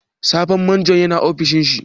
Sabon Majon ya na ofishin shi?